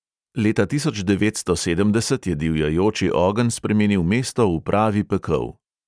Leta tisoč devetsto sedemdeset je divjajoči ogenj spremenil mesto v pravi pekel.